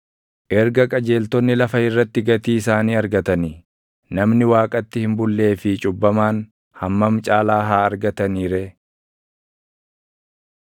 Erga qajeeltonni lafa irratti gatii isaanii argatanii, namni Waaqatti hin bullee fi cubbamaan // hammam caalaa haa argatanii ree!